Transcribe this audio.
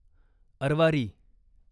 Arwari